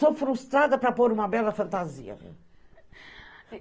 Sou frustrada para pôr uma bela fantasia.